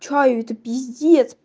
чаю это пиздец